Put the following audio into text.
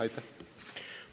Aitäh!